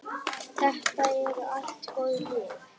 Þetta eru allt góð lið.